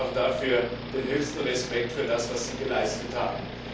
Auch dabei den höchsten Respekt für das, was Sie geleistet haben.